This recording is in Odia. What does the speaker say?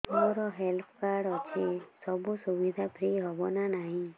ମୋର ହେଲ୍ଥ କାର୍ଡ ଅଛି ସବୁ ଔଷଧ ଫ୍ରି ହବ ନା ନାହିଁ